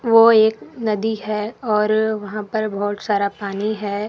वो एक नदी है और वहां पर बहुत सारा पानी है।